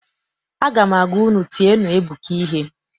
Aga m agwa unu, tienụ Ebuka ihe!